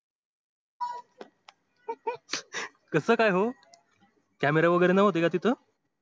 कस काय हो camera वैगेरे नव्हते का तिथ